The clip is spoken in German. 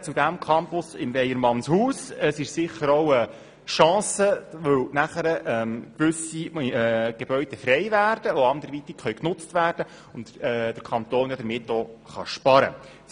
Es ist sicher auch eine Chance, weil gewisse Gebäude frei werden, die dann anderweitig genutzt werden können und der Kanton damit auch sparen kann.